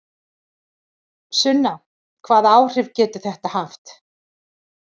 Sunna: Hvaða áhrif getur þetta haft?